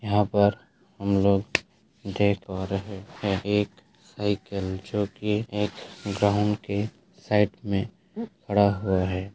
यहाँ पर हम लोग देख पा रहें हैं एक साइकिल जो की एक ग्राउन्ड के साइड में खड़ा हुआ है।